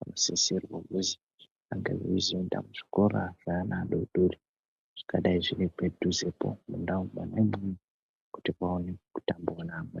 anosisirwe kuzi ange eizoenda kuzvikora zveana adodori zvingadai zviri padhuzepo mundau mwona imwomwo kuti aone kutambawo neamweni.